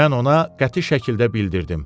Mən ona qəti şəkildə bildirdim.